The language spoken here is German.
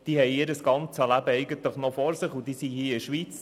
Sie haben ihr Leben noch vor sich, und sie sind hier in der Schweiz.